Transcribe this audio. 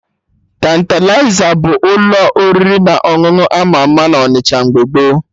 Tantalizer bụ ụlọ oriri na ọṅụṅụ ama ama na Onịsha mgbe gboo